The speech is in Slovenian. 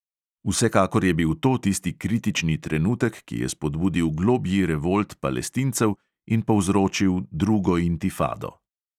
Vsekakor je bil to tisti kritični trenutek, ki je spodbudil globlji revolt palestincev in povzročil drugo intifado.